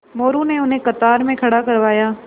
मोरू ने उन्हें कतार में खड़ा करवाया